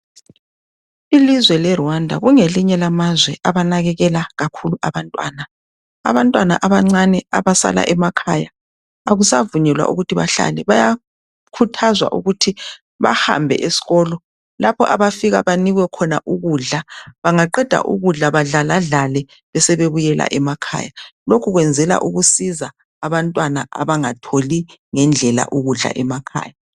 ilizwe le Rwanda lingelinye lamazwe elinakekela kakhulu abantwana abantwana abancane abasala emakhaya abasavunyelwa ukuthi bahlalebayakhuthazwa ukuthi bahambe esikolo lapho abafika banikwe khona ukudla bangaqeda ukudla badlala dlale sebebuyela emakhaya lokhu kwenzala ukusiza abantwana abangatholi ngendlela ukudla emakahaya